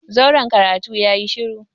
zauren karatu yayi shuru.